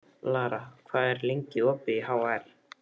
Lara, hvað er lengi opið í HR?